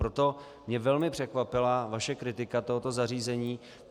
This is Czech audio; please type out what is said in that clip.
Proto mě velmi překvapila vaše kritika tohoto zařízení.